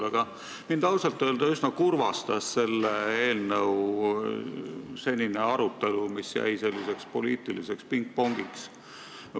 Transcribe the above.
Aga mind ausalt öelda üsna kurvastas eelnõu säärane arutelu, mis piirdus poliitilise pingpongiga.